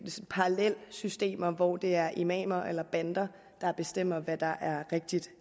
parallelsystemer hvor det er imamer eller bander der bestemmer hvad der er rigtigt